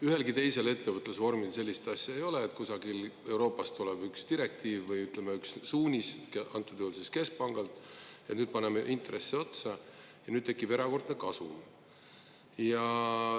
Ühelgi teisel ettevõtlusvormil sellist asja ei ole, et kusagilt Euroopast tuleb üks direktiiv või suunis, antud juhul siis keskpangalt, paneme intresse otsa ja siis tekib erakordne kasum.